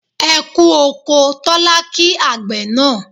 E kú oko' Tólá kí àgbẹ̀ náà